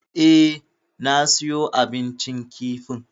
Eh, na siyo abincin kifin.